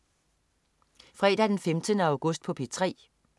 Fredag den 15. august - P3: